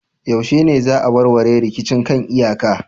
Yaushe ne za a warware rikicin kan iyaka